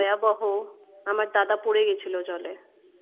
ভয়াবহ আমার দাদা পড়ে গেছিল জলে